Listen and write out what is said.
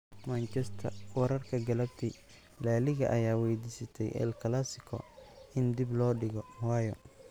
(Manchester wararka galabti) La Liga ayaa weydiistay El Clasico in dib loo dhigo - waayo?